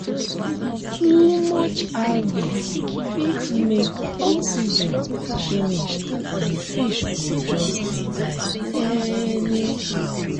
too much algae fit make oxygen finishand fish go just de die anyhow